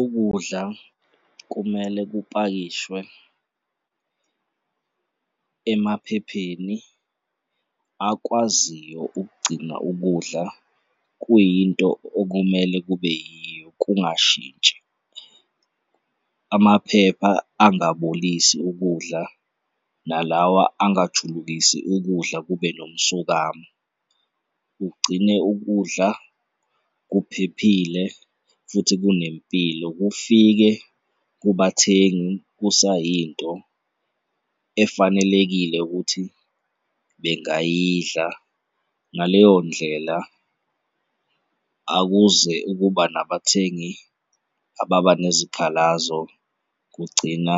Ukudla kumele kupakishwe emaphepheni akwaziyo ukugcina ukudla kuyinto okumele kube yiyo kungashintshi, amaphepha angabolisi ukudla nalawa angajulukisi ukudla kube nomsokamo, kugcine ukudla kuphephile futhi kunempilo, kufike kubathengi kusayinto efanelekile ukuthi bengayidla. Ngaleyo ndlela akuze ukuba nabathengi ababanezikhalazo kugcina